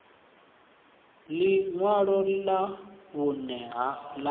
ḽi ṅwalo ḽa vhuṋe ḽa